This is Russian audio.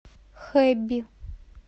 хэби